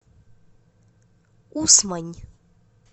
усмань